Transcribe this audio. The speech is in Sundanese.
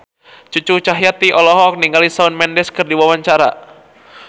Cucu Cahyati olohok ningali Shawn Mendes keur diwawancara